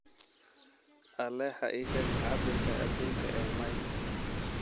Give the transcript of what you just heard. alexa ii sheeg cabirka aduunka ee miles